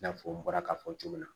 I n'a fɔ n bɔra k'a fɔ cogo min na